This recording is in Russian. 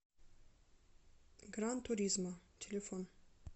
гран туризмо телефон